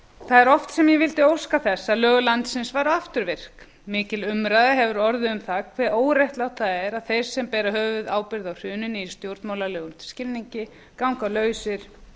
það er oft sem ég vildi óska þess að lög landsins væru afturvirk mikil umræða hefur orðið um það hve óréttlátt það er að þeir sem bera höfuðábyrgð á hruninu í stjórnmálalegum skilningi ganga lausir